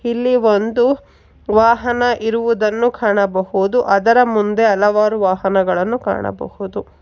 ಇಲ್ಲಿ ಒಂದು ವಾಹನ ಇರುವುದನ್ನು ಕಾಣಬಹುದು ಅದರ ಮುಂದೆ ಹಲವಾರು ವಾಹನಗಳನ್ನು ಕಾಣಬಹುದು.